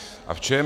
A v čem?